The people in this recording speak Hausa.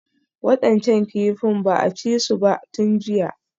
Waɗancan kifin ba a ci su ba tun jiya